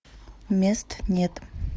мест нет